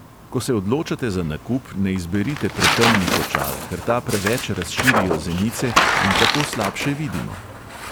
Ko se odločate za nakup, ne izberite pretemnih očal, ker ta preveč razširijo zenice in tako slabše vidimo.